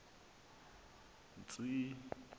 tsi i i